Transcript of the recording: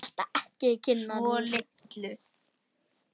Svo litlu.